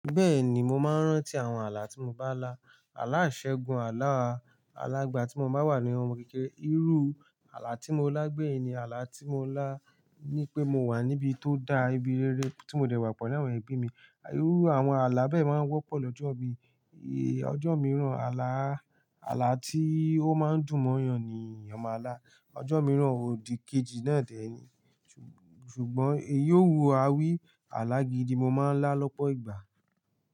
Bẹ́ẹ̀ni, mo máa ń rántí àwọn ààlà tí mo bá lá. Ààlà iṣẹ́gun, ààlà alá igba tí mo bá wà ní ohun kèkèrè. Irú ààlà tí mo lá gbẹ̀yìn ni ààlà tí mo lá ní pé mo wà níbi tó da, ibi rere tí mo dẹ́ wà pelu àwọn ẹbí mi. Irú àwọn ààlà bẹ́ẹ̀ máa ń wọ́pọ̀ lọ́jọ́ mi. Ojo mìíràn ààlà, ààlà ti o máa n dun mo èèyàn ni èèyàn máa là. Ọjọ́ mìíràn òdìkejì náà dẹ́ ni, ṣùgbọ́n èyí o wu àwí alá gidi mo máa ń lá lọ́pọ̀ ìgbà.